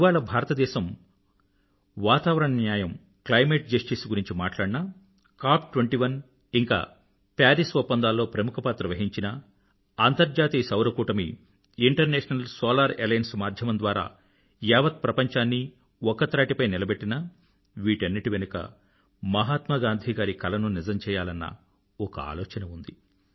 ఇవాళ భారతదేశం వాతావరణ న్యాయంclimate జస్టిస్ గురించి మాట్లాడినా Cop21 ఇంకా పారిస్ ఒప్పందాలలో ప్రముఖ పాత్ర వహించినా అంతర్జాతీయ సౌర కూటమిinternational సోలార్ అలియన్స్ మాధ్యమం ద్వారా యావత్ ప్రపంచాన్నీ ఒక్క త్రాటిపై నిలబెట్టినా వీటన్నింటి వెనుకా మహాత్మా గాంధీ గారి కలను నిజం చెయ్యాలన్న ఒక ఆలోచన ఉంది